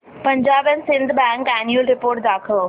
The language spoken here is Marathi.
Punjab and Sind Bank annual report दाखव